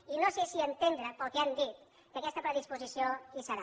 i no sé si entendre pel que han dit que aquesta predisposició hi serà